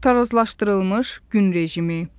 Tarazlaşdırılmış gün rejimi.